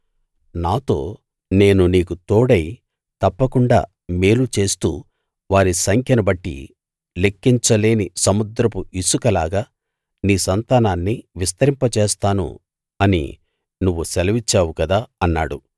నాతో నేను నీకు తోడై తప్పకుండా మేలు చేస్తూ వారి సంఖ్యను బట్టి లెక్కించలేని సముద్రపు ఇసకలాగా నీ సంతానాన్ని విస్తరింపజేస్తాను అని నువ్వు సెలవిచ్చావు కదా అన్నాడు